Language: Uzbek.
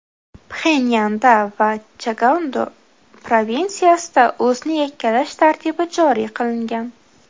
Pxenyanda va Chagando provinsiyasida o‘zni yakkalash tartibi joriy qilingan.